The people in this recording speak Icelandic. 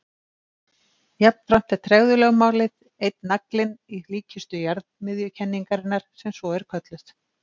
Jafnframt er tregðulögmálið einn naglinn í líkkistu jarðmiðjukenningarinnar sem svo er kölluð.